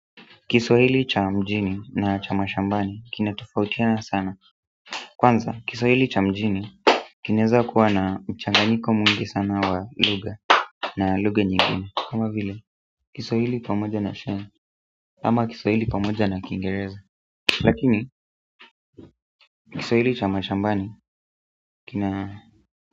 Kiswahili cha mjini na cha mashambani kina tofautiana sana kwanza kiswahili cha mjini kinaweza kuwa na mchanganyiko mwingi sana wa lugha na lugha nyingine kama vile kiswahili pamoja na sheng ama kiswahili pamoja na kiingereza. Lakini Kiswahili cha mashambani kina.